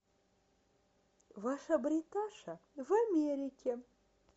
ваша бриташа в америке